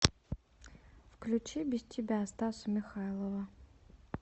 включи без тебя стаса михайлова